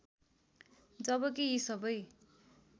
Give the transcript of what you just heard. जबकी यी सबै